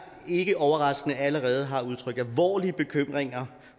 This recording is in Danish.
ikke overraskende allerede har udtrykt alvorlige bekymringer